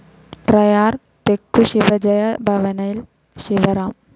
പ്രയാർ തെക്കു ശിവജയ ഭവനിൽ ശിവറാം